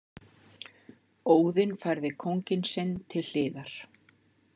Óðinn færði kónginn sinn til hliðar.